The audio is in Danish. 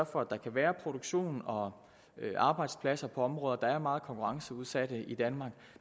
for at der kan være produktion og arbejdspladser på områder der er meget konkurrenceudsatte i danmark